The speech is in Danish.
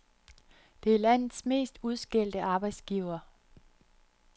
Det er landets mest udskældte arbejdsgiver.